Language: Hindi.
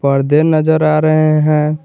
पर्दे नजर आ रहे हैं।